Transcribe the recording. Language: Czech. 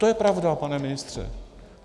To je pravda, pane ministře.